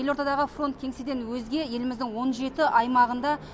елордадағы фронт кеңседен өзге еліміздің он жеті аймағында